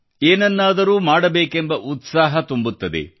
ಏನನ್ನಾದರೂ ಮಾಡಬೇಕೆಂಬ ಉತ್ಸಾಹ ತುಂಬುತ್ತದೆ